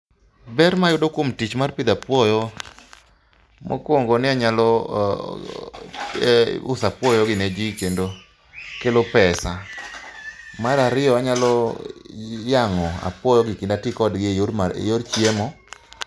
Ber mayudo kuom tich mar pidho apuoyo mokuongo ni anyalo ee uso apuoyogi ne ji kendo kelo pesa. Mar ariyo anyalo yang'o apuoyogi kendo atii kodgi eyor chiemo.